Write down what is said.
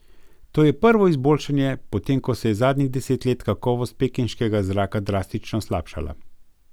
To je prvo izboljšanje, potem ko se je zadnjih deset let kakovost pekinškega zraka drastično slabšala.